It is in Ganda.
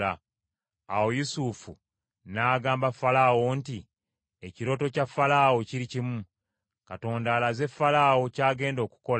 Awo Yusufu n’agamba Falaawo nti, “Ekirooto kya Falaawo kiri kimu: Katonda alaze Falaawo ky’agenda okukola.